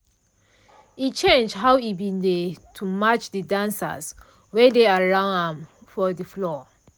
e change how e bin dey to match de dancers wey dey around ahm for de floor.